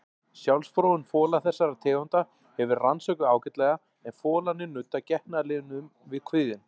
Sjálfsfróun fola þessara tegunda hefur verið rannsökuð ágætlega en folarnir nudda getnaðarlimnum við kviðinn.